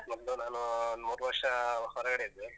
ಮೊದ್ಲು ನಾನು ಒಂದ್ ಮೂರು ವರ್ಷ ಹೊರಗಡೆ ಇದ್ದೆ.